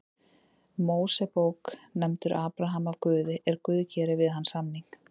Mósebók nefndur Abraham af Guði er Guð gerir við hann samning: